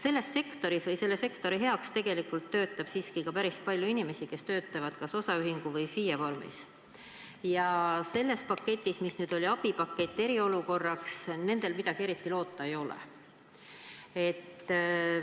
Selles sektoris või selle sektori heaks töötab tegelikult päris palju inimesi, kes tegutsevad kas osaühingu või FIE-na, ja sellest abipaketist, mis nüüd eriolukorraks ette nähti, neil midagi eriti loota ei ole.